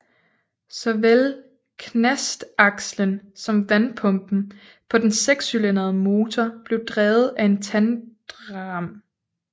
Såvel knastakslen som vandpumpen på den sekscylindrede motor blev drevet af en tandrem